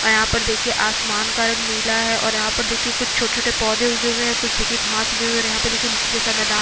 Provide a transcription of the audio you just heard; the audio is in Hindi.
और यहाँ पर देखिये आसमान का रंग नीला है और यहाँ पर देखिये कुछ छोटे-छोटे पौधे उगे हुए है कुछ घास उगे हुए है और यहाँ पर देखिये मिट्ठी जैसा मैदान है।